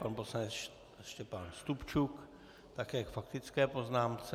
Pan poslanec Štěpán Stupčuk také k faktické poznámce.